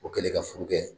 O kɛlen ka furu kɛ